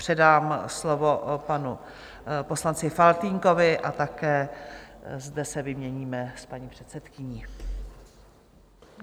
Předám slovo panu poslanci Faltýnkovi a také zde se vyměníme s paní předsedkyní.